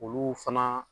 Olu fana